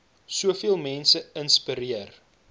soveel mense inspireer